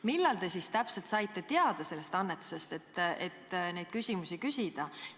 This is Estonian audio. Millal te siis täpselt saite teada sellest annetusest, et neid küsimusi küsida?